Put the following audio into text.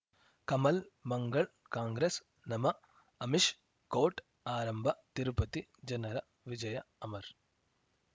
Kamal Mangal Congress ನಮಃ Amish court ಆರಂಭ ತಿರುಪತಿ ಜನರ ವಿಜಯ ಅಮರ್